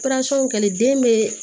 ka kɛ den bɛ